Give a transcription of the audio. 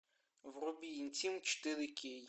вруби интим четыре кей